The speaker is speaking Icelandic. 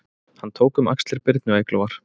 Hann tók um axlir Birnu Eyglóar